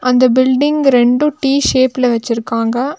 அந்த பில்டிங் இரண்டு டி_ஷேப்ல வச்சிருக்காங்க.